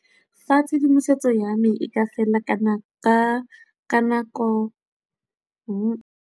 Fa tshedimosetso ya me e ka felela ka nako.